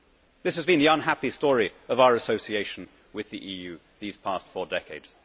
This has been the unhappy story of our association with the EU these past four decades.